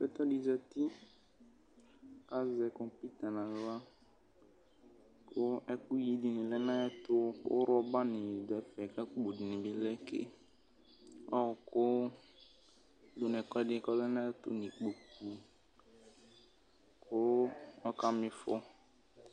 Atani zati azɛ kɔpʋta nʋ aɣla kʋ ɛkʋyi dini lɛnʋ ayʋ ɛtʋ kʋ rɔbani dʋ ɛfɛ kʋ ɛkʋwʋ dini bi lɛ ke ɔkʋ dʋnʋ ɛkʋedini kʋ ɔlɛ nʋ ayʋ ɛtʋ dʋnʋ ikpokʋ kʋ ɔkama ɩfɔ